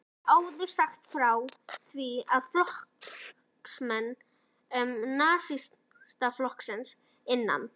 Við höfum áður sagt frá því, að flokksmenn Nasistaflokksins innan